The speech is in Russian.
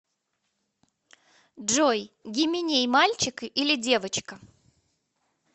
джой гименей мальчик или девочка